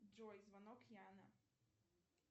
джой звонок яна